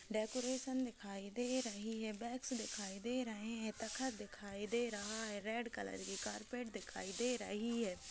Decoration दिखाई दे रही है बैगस दिखाई दे रहे है तखत दिखाई दे रहा है रेड कलर की कारपेट दिखाई दे रही है।